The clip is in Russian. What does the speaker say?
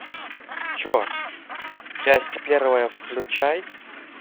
че часть первая включай